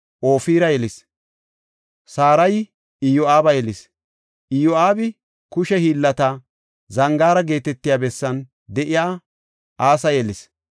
Ma7onotayi Ofira yelis. Sarayi Iyo7aaba yelis. Iyo7aabi Kushe Hiillata Zangaara geetetiya bessan de7iya asaa yelis.